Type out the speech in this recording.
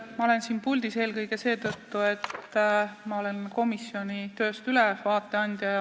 Ma olen siin puldis eelkõige seetõttu, et annan ülevaate komisjoni tööst.